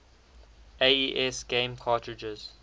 aes game cartridges